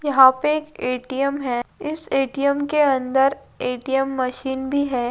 यहां पर ए-टी-एम है इस ए-टी-एम के अंदर एटीएम मशीन भी है|